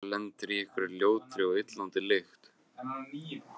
Hvað ef maður lendir á einhverri ljótri og illa lyktandi?